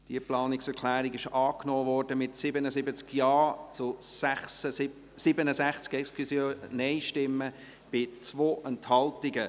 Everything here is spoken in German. Diese Planungserklärung wurde angenommen, mit 77 Ja- zu 67 Nein-Stimmen bei 2 Enthaltungen.